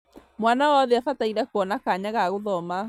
mwana wothe abataire kuona kanya ga gũthoma